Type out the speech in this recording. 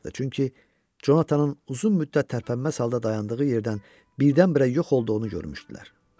çünki Conatanın uzun müddət tərpənməz halda dayandığı yerdən birdən-birə yox olduğunu görmüşdülər.